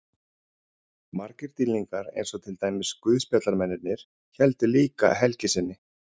Margir dýrlingar eins og til dæmis guðspjallamennirnir héldu líka helgi sinni.